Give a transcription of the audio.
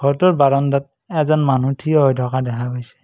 ঘৰটোৰ বাৰণ্ডাত এজন মানুহ থিয় হৈ থকা দেখা গৈছে।